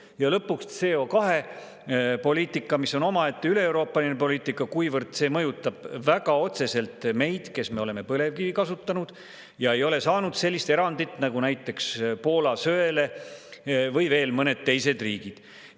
Ja lõpuks, CO2-poliitika, mis on omaette üleeuroopaline poliitika, kuivõrd see mõjutab väga otseselt meid, kes me oleme põlevkivi kasutanud ega ole saanud sellist erandit nagu näiteks Poola söele või veel mõned teised riigid.